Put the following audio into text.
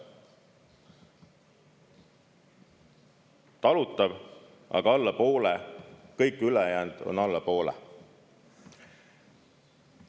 Talutav, aga alla poole, kõik ülejäänud on alla poole.